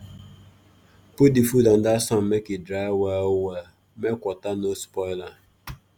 put the food under sun make e dry well well make water no spoil am